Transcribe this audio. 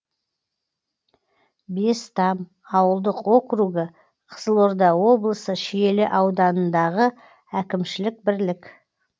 бестам ауылдық округі қызылорда облысы шиелі ауданындағы әкімшілік бірлік